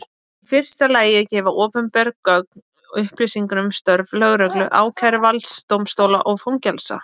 Í fyrsta lagi gefa opinber gögn upplýsingar um störf lögreglu, ákæruvalds, dómstóla og fangelsa.